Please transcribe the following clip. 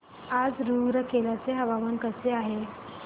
आज रूरकेला चे हवामान कसे आहे